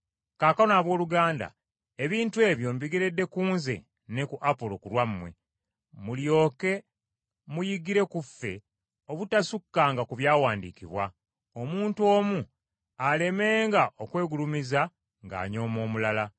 Kaakano abooluganda ebintu ebyo mbigeredde ku nze ne ku Apolo ku lwammwe, mulyoke muyigire ku ffe obutasukkanga ku byawandiikibwa, omuntu omu alemenga okwegulumiza ng’anyooma omulala.